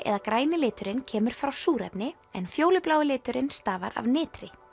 eða græni liturinn kemur frá súrefni en fjólublái liturinn stafar af nitri